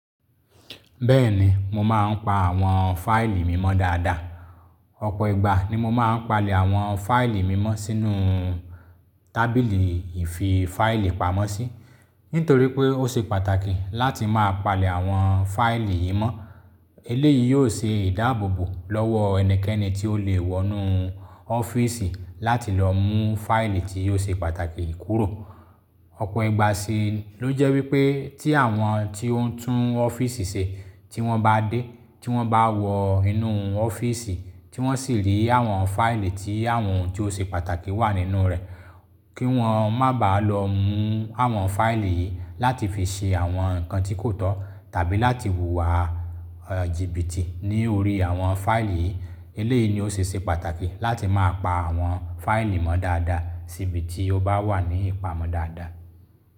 Bẹ́ẹ̀ni, mo máa ń pa àwọn fáìlì mímọ́ dáadáa. Ọ̀pọ̀ ìgbà ni mo máa ń palẹ̀ àwọn fáìlì mímọ́ sínú tábìlì ìfi fáìlì pamọ́ sí, nítorí pé ó ṣe pàtàkì láti máa palẹ̀ àwọn fáìlì yìí mọ́. Eléyìí yóò ṣe ìdáàbòbò lọ́wọ ẹnikẹ́ni tí ó lè wọ inú ọ́fíìsì láti lọ mú fáìlì tí ò ṣe pàtàkì kúrò. Ọ̀pọ̀ ìgbà sì ló jẹ́ wípé tí àwọn tí ó ń tún ọ́fíìsì ṣe tí wọ́n bá dé, tí wọ́n bá wọ inú ọ́fíìsì, tí wọ́n sì rí àwọn fáìlì tí àwọn ohun tí ó ṣe pàtàkì wà nínú rẹ̀, kí wọ́n má bá lọ mú àwọn fáìlì yìí láti fi ṣe àwọn nǹkan tí kò tọ́ tàbí láti wùwà jìbìtì ní orí àwọn fáìlì yìí. Eléyìí ni ó ṣe é ṣe pàtàkì láti máa pa àwọn fáìlì mọ́ dáadáa síbi tí ó bá wà ní ìpamọ́ dáadáa.